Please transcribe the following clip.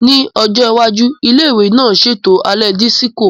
Ní ọjọ́ iwájú, ilé ìwé náà ń ṣètò alẹ́ dísíkò